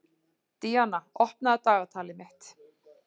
Díanna, opnaðu dagatalið mitt.